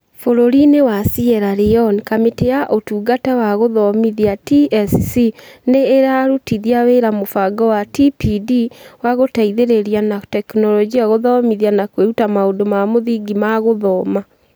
Bũrũri-inĩ wa Sierra Leone, Kamĩtĩ ya Ũtungata wa Gũthomithia (TSC) nĩ ĩrarutithia wĩra mũbango wa TPD wa gũteithĩrĩria na tekinoronjĩ gũthomithia na kwĩruta maũndũ ma mũthingi ma gũthoma